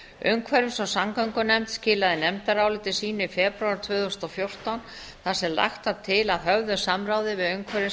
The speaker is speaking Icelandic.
umhverfis og samgöngunefnd skilaði nefndaráliti sínu í febrúar tvö þúsund og fjórtán þar sem lagt var til að höfðu samráði við umhverfis og